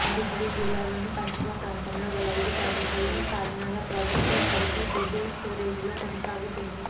ఉమ్మడి జిల్లాలోని పశ్చిమ ప్రాంతంలో గల ఐదు ప్రాజెక్టులలో సాథ్నాల ప్రాజెక్టు ఇప్పటికీ డెడ్ స్టోరేజీలో కొనసాగుతోంది